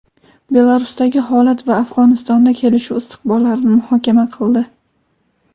Belarusdagi holat va Afg‘onistonda kelishuv istiqbollarini muhokama qildi.